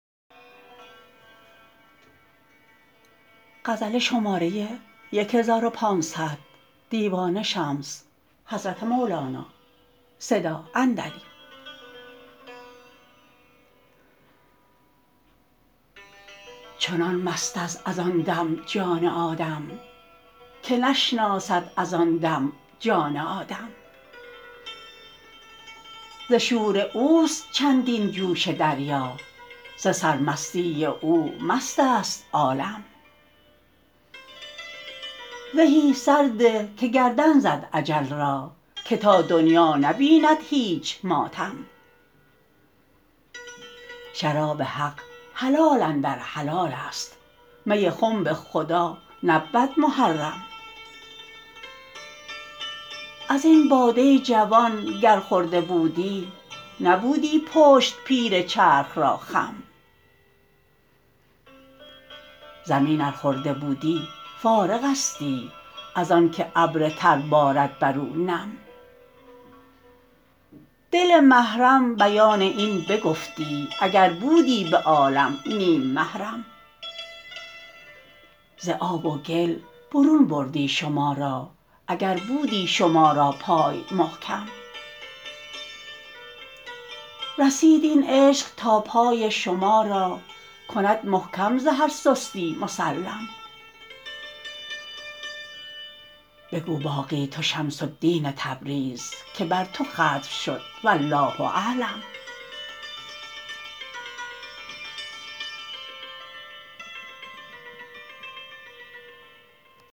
چنان مست است از آن دم جان آدم که نشناسد از آن دم جان آدم ز شور اوست چندین جوش دریا ز سرمستی او مست است عالم زهی سرده که گردن زد اجل را که تا دنیا نبیند هیچ ماتم شراب حق حلال اندر حلال است می خنب خدا نبود محرم از این باده جوان گر خورده بودی نبودی پشت پیر چرخ را خم زمین ار خورده بودی فارغستی از آنک ابر تر بارد بر او نم دل محرم بیان این بگفتی اگر بودی به عالم نیم محرم ز آب و گل برون بردی شما را اگر بودی شما را پای محکم رسید این عشق تا پای شما را کند محکم ز هر سستی مسلم بگو باقی تو شمس الدین تبریز که بر تو ختم شد والله اعلم